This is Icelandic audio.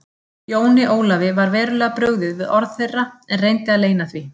Jóni Ólafi var verulega brugðið við orð þeirra en reyndi að leyna því.